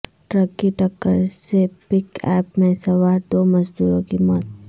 truck کی ٹکر سے پک اپ میں سوار دو مزدوروں کی موت